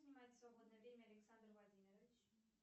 чем занимается в свободное время александр владимирович